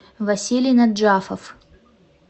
василий наджафов